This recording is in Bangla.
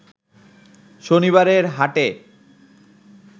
শনিবারের হাটে